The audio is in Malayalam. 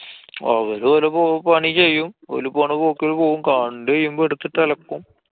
അവരു ഓലെ പണി ചെയ്യും. ഓല് പോണ പോക്കില് പോവും. കണ്ടു കഴിയുമ്പോ എടുത്തിട്ട് അലക്കും.